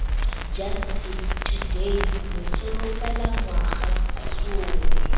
justice today re solofela ngwagasome